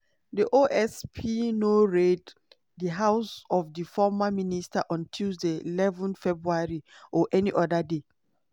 "di osp no raid di house of di former minister on tuesday eleven february or any oda day.